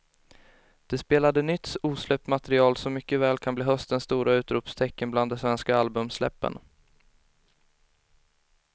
De spelade nytt osläppt material som mycket väl kan bli höstens stora utropstecken bland de svenska albumsläppen.